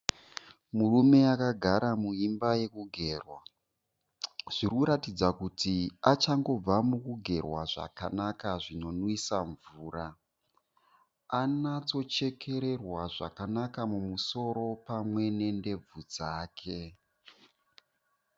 Murume akagara muimba yekugerwa. Zvirikuratidza kuti achangobva mukugerwa zvakanaka zvinonwisa mvura. Anotsochekererwa mumusoro pamwechete nendebvu dzake.